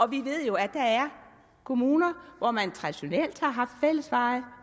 vi ved jo at der er kommuner hvor man traditionelt har haft fællesveje